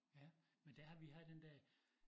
Ja men der har vi har den dér